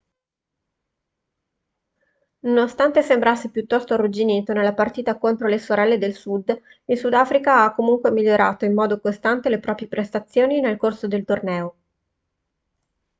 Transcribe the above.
nonostante sembrasse piuttosto arrugginito nella partita contro le sorelle del sud il sudafrica ha comunque migliorato in modo costante le proprie prestazioni nel corso del torneo